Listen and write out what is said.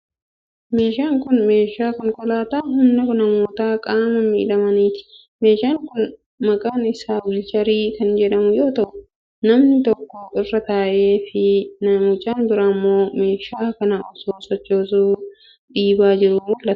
Meeshaan kun, meeshaa konkolaataa humna namoota qaama miidhamaniiti. Meeshaan kun maqaan isaa wiilcharii kan jedhamu yoo ta'u, namni tokko irra taa'ee fi mucaan biraa immoo meeshaa kana osoo sochoosuuf dhiibaa jiruu mul'ata.